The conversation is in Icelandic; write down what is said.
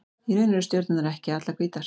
Í raun eru stjörnurnar ekki allar hvítar.